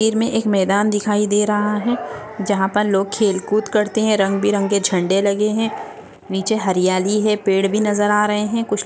तस्वीर में एक मैदान दिखाई दे रहा है जहाँ पर लोग खेल कूद करते है रंग बिरंगे झंडे लगे है नीचे हरियाली है पेड़ भी नज़र आ रहे है। कुछ --